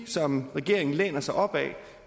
som regeringen læner sig op ad